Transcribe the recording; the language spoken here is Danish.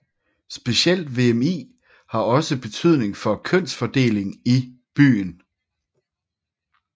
Specielt VMI har også betydning for kønsfordelingen i byen